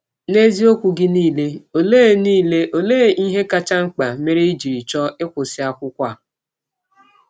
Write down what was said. N’eziọkwụ gị niile, ọlee niile, ọlee ihe kacha mkpa mere i jị chọọ ịkwụsị akwụkwọ?